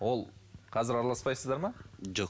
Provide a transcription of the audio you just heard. ол қазір араласпайсыздар ма жоқ